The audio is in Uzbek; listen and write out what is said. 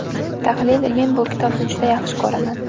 Tahlil Men bu kitobni juda yaxshi ko‘raman.